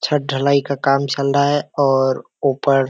छत ढलाई का काम चल रहा हैं और ऊपर --